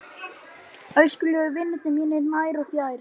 Elskulegu vinirnir mínir nær og fjær